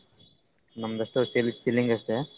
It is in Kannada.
ನಮ್ದ್ ಅಷ್ಟ selling ಅಷ್ಟೆ.